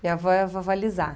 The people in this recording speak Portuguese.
Minha avó é a vovó Lisa.